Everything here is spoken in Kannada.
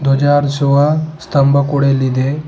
ಧ್ವಜ ಹಾರಿಸುವ ಸ್ತಂಭ ಕೂಡ ಇಲ್ಲಿದೆ.